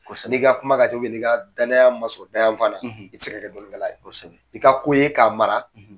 Sanni i ka kuma ka tɔ ki ma ɲininka danaya ma sɔrɔ da yan fan na, i ti se ka dɔnnikɛla ye. I ka ko ye k'a mara